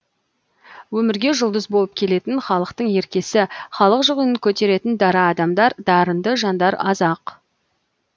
өмірге жұлдыз болып келетін халықтың еркесі халық жүгін көтеретін дара адамдар дарынды жандар аз ақ